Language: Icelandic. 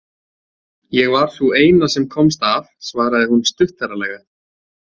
Ég var sú eina sem komst af, svaraði hún stuttaralega.